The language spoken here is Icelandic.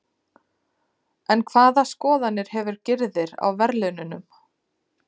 En hvaða skoðanir hefur Gyrðir á verðlaununum?